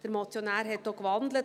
Der Motionär hat auch gewandelt.